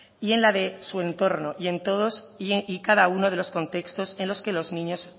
y en la de su entorno y en todos y cada uno de los contextos en los que los niños